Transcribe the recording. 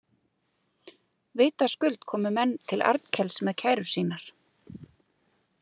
Vitaskuld komu menn til Arnkels með kærur sínar.